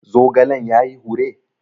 Zogalen ya yi hure?